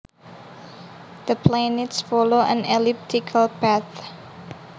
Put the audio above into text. The planets follow an elliptical path